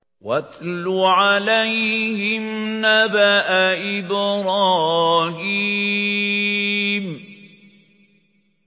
وَاتْلُ عَلَيْهِمْ نَبَأَ إِبْرَاهِيمَ